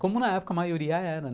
Como na época a maioria era.